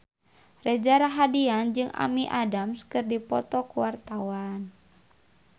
Reza Rahardian jeung Amy Adams keur dipoto ku wartawan